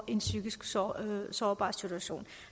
i en psykisk sårbar sårbar situation